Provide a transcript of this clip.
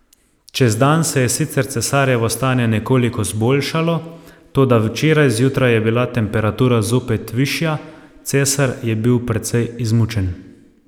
Čez dan se je sicer cesarjevo stanje nekoliko zboljšalo, toda včeraj zjutraj je bila temperatura zopet višja, cesar je bil precej izmučen.